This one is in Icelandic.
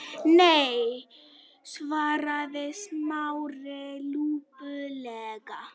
Nei- svaraði Smári lúpulega.